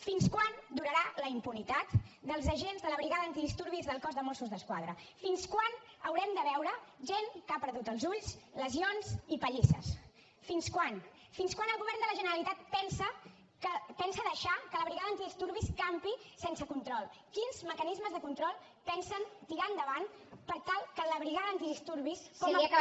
fins quan durarà la impunitat dels agents de la brigada antidisturbis del cos de mossos d’esquadra fins quan haurem de veure gent que ha perdut els ulls lesions i pallisses fins quan fins quan el govern de la generalitat pensa deixar que la brigada antidisturbis campi sense control quins mecanismes de control pensen tirar endavant per tal que la brigada antidisturbis com a cos